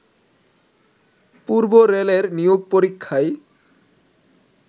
পূর্ব রেলের নিয়োগ পরীক্ষায়